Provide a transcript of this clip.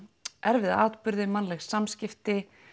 erfiða atburði mannleg samskipti